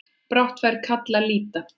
Brátt fær kall að líta.